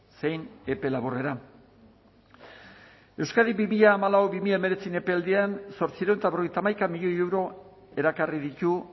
zein epe laburrera euskadi bi mila hamalau bi mila hemeretzi epealdian zortziehun eta berrogeita hamaika milioi euro erakarri ditu